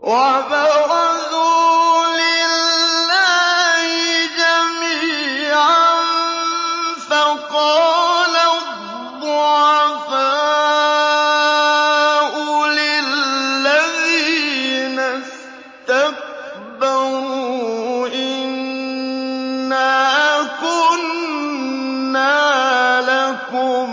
وَبَرَزُوا لِلَّهِ جَمِيعًا فَقَالَ الضُّعَفَاءُ لِلَّذِينَ اسْتَكْبَرُوا إِنَّا كُنَّا لَكُمْ